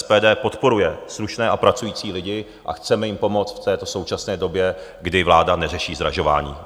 SPD podporuje slušné a pracující lidi a chceme jim pomoct v této současné době, kdy vláda neřeší zdražování.